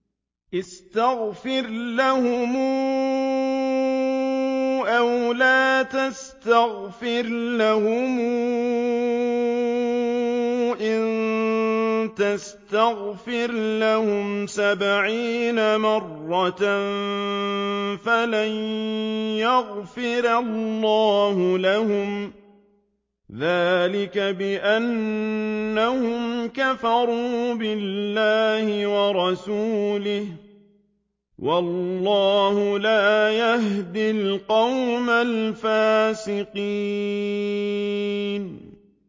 اسْتَغْفِرْ لَهُمْ أَوْ لَا تَسْتَغْفِرْ لَهُمْ إِن تَسْتَغْفِرْ لَهُمْ سَبْعِينَ مَرَّةً فَلَن يَغْفِرَ اللَّهُ لَهُمْ ۚ ذَٰلِكَ بِأَنَّهُمْ كَفَرُوا بِاللَّهِ وَرَسُولِهِ ۗ وَاللَّهُ لَا يَهْدِي الْقَوْمَ الْفَاسِقِينَ